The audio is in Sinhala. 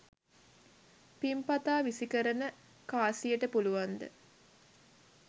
පිං පතා විසිකරන කාසියට පුළුවන්ද